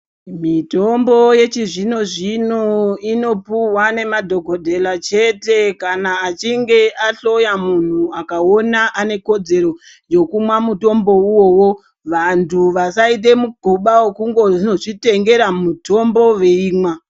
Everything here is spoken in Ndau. Mitombo yechizvino zvino inopuhwa nemadhokotela chete kana achinge ahloya munhu akaona anekodzero yekumwa mutombo iwowo. Vantu vasaite migoba wekundozvitengera mutombo veimwa.